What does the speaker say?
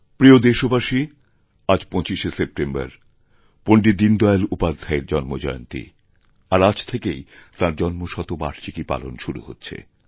প্রিয়দেশবাসী আজ ২৫শে সেপ্টেম্বর পণ্ডিত দীনদয়াল উপাধ্যায়ের জন্মজয়ন্তী আর আজ থেকেইতাঁর জন্মশতবার্ষিকী পালন শুরু হচ্ছে